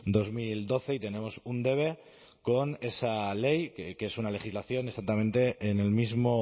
dos mil doce y tenemos un debe con esa ley que es una legislación exactamente en el mismo